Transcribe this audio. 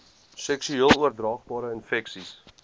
seksueel oordraagbare infeksies